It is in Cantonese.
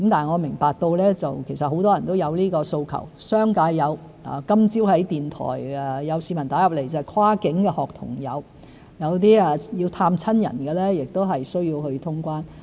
我明白其實很多人都有這個訴求，商界有，今早電台節目有市民來電說跨境學童有，亦有些要探親的人需要通關。